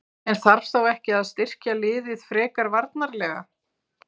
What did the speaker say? En þarf þá ekki að styrkja liðið frekar varnarlega?